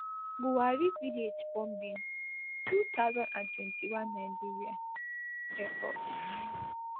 buwari village bombing two thousand and twenty-one nigeria air force